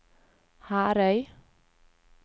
Herøy